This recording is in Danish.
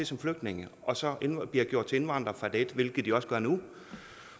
som flygtninge og så bliver gjort til indvandrere fra dag et hvilket de også gør nu